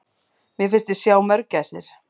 Mér fannst ég sjá mörgæsir!